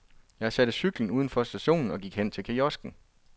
Jeg satte cyklen uden for stationen og gik hen til kiosken.